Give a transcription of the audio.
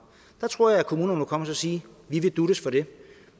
der tror jeg at kommunerne må komme og sige vi vil duttes for det